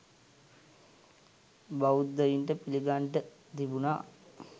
බෞධයින්ට පිළිගන්ඩ තිබුනා